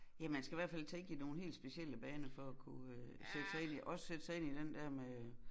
Ja man skal hvert fald tænke i nogle helt specielle baner for at kunne øh sætte sig ind i også sætte sig ind i den der med